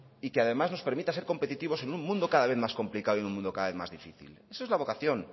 y que además nos permita ser competitivos en un mundo cada vez más complicado y en un mundo cada vez más difícil esa es la vocación